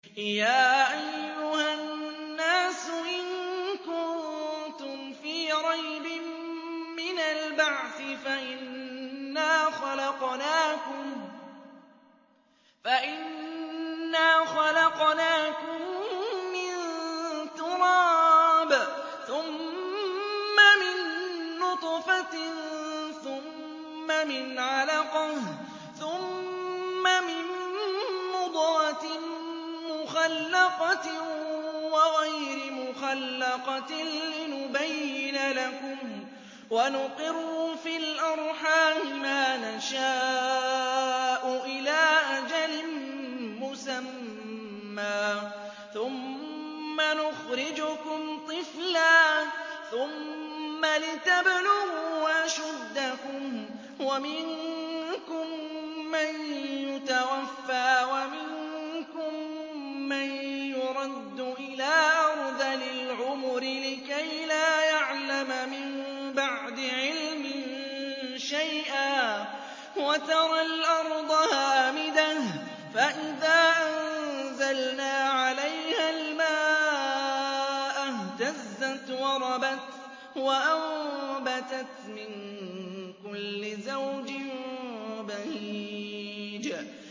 يَا أَيُّهَا النَّاسُ إِن كُنتُمْ فِي رَيْبٍ مِّنَ الْبَعْثِ فَإِنَّا خَلَقْنَاكُم مِّن تُرَابٍ ثُمَّ مِن نُّطْفَةٍ ثُمَّ مِنْ عَلَقَةٍ ثُمَّ مِن مُّضْغَةٍ مُّخَلَّقَةٍ وَغَيْرِ مُخَلَّقَةٍ لِّنُبَيِّنَ لَكُمْ ۚ وَنُقِرُّ فِي الْأَرْحَامِ مَا نَشَاءُ إِلَىٰ أَجَلٍ مُّسَمًّى ثُمَّ نُخْرِجُكُمْ طِفْلًا ثُمَّ لِتَبْلُغُوا أَشُدَّكُمْ ۖ وَمِنكُم مَّن يُتَوَفَّىٰ وَمِنكُم مَّن يُرَدُّ إِلَىٰ أَرْذَلِ الْعُمُرِ لِكَيْلَا يَعْلَمَ مِن بَعْدِ عِلْمٍ شَيْئًا ۚ وَتَرَى الْأَرْضَ هَامِدَةً فَإِذَا أَنزَلْنَا عَلَيْهَا الْمَاءَ اهْتَزَّتْ وَرَبَتْ وَأَنبَتَتْ مِن كُلِّ زَوْجٍ بَهِيجٍ